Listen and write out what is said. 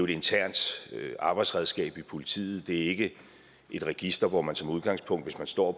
internt arbejdsredskab i politiet det er ikke et register hvor man som udgangspunkt hvis man står